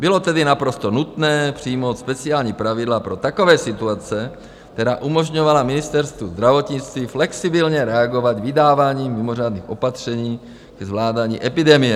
Bylo tedy naprosto nutné přijmout speciální pravidla pro takové situace, která umožňovala Ministerstvu zdravotnictví flexibilně reagovat vydáváním mimořádných opatření ke zvládání epidemie.